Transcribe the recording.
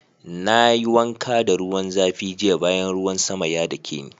Na yi wanka da ruwan zafi jiya bayan ruwan sama ya dake ni.